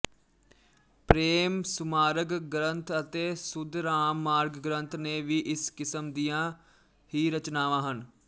ਪ੍ਰੇਮ ਸੁਮਾਰਗ ਗਰੰਥ ਅਤੇ ਸੁਧਰਾਮ ਮਾਰਗ ਗਰੰਥ ਨੇ ਵੀ ਇਸ ਕਿਸਮ ਦੀਆ ਹੀ ਰਚਨਾਵਾਂ ਹਨ